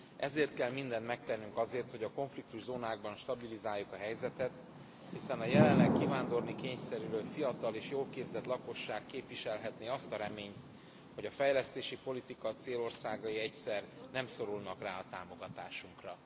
Ezért kell mindent megtennünk azért, hogy a konfliktuszónákban stabilizáljuk a helyzetet, hiszen a jelenleg kivándorolni kényszerülő fiatal és jól képzett lakosság képviselhetné azt a reményt, hogy a fejlesztési politika célországai egyszer nem szorulnak rá a támogatásunkra.